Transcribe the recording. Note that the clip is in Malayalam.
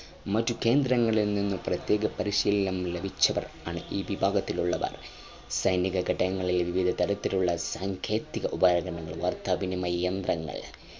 മറ്റു കേന്ദ്രങ്ങളിൽ നിന്നും പ്രത്യേക പരിശീലനം ലഭിച്ചവർ ആണ് ഈ വിഭാഗത്തിലുള്ളവർ സൈനിക ഘടകങ്ങളിലെ വിവിധതരത്തിലുള്ള സാങ്കേതിക ഉപകരണവാർത്താവിനിമയ യന്ത്രങ്ങൾ